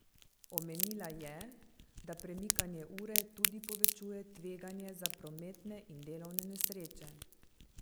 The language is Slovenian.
Omenila je, da premikanje ure tudi povečuje tveganje za prometne in delovne nesreče.